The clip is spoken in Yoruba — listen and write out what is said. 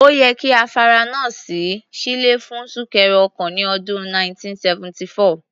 Ó yẹ kí afárá náà ṣí sílẹ̀ fún súnkẹrẹ ọkọ̀ ní ọdún 1974.